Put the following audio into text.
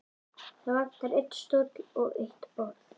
Það vantar einn stól og eitt borð.